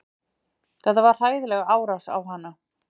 Þetta var hræðileg árás á hana